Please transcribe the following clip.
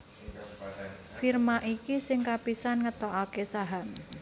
Firma iki sing kapisan ngetokaké saham